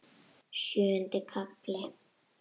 Sjöundi kafli